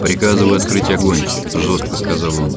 приказываю открыть огонь жёстко сказал он